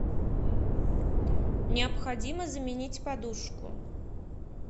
необходимо заменить подушку